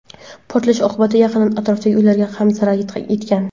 Portlash oqibatida yaqin atrofdagi uylarga ham zarar yetgan.